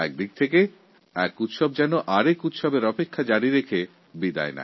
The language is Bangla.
একপ্রকার একএকটা উৎসব পরের উৎসবকে আমন্ত্রণ জানিয়ে চলে যায়